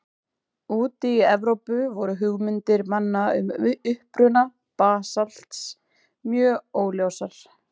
Úti í Evrópu voru hugmyndir manna um uppruna basalts mjög óljósar.